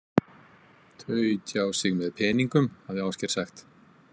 Þau tjá sig með peningum, hafði Ásgeir sagt.